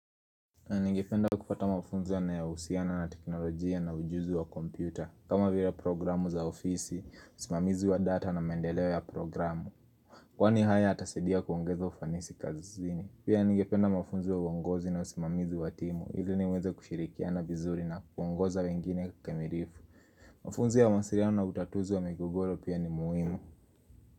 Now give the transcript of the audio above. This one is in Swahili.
Ningependa kupata mafunzo yanyohusiana na teknolojia na ujuzi wa kompyuta kama vila programu za ofisi, usimamizi wa data na maendeleo ya programu Kwani haya yatasadia kuongeza ufanisi kazini Pia ningependa mafunzo ya uongozi na usimamizi wa timu ili niweze kushirikiana vizuri na kuongoza wengine kikamilifu Mafunzo ya mawasiliano na utatuzi wa migogoro pia ni muhimu.